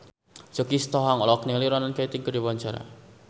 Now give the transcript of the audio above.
Choky Sitohang olohok ningali Ronan Keating keur diwawancara